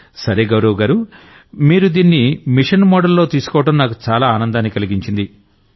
నరేంద్ర మోడీ సరే గౌరవ్ గారూ మీరు దీన్ని మిషన్ మోడలో తీసుకోవడం నాకు చాలా ఆనందాన్ని కలిగించింది